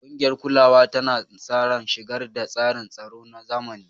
Ƙungiyar kulawa tana sa ran shigar da tsarin tsaro na zamani.